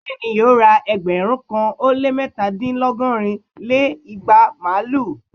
Bẹ́ẹ̀ni, yóò ra ẹgbẹ̀rún kan ó lé mẹ́ta dín lọgọ́rin lé igba màlúù!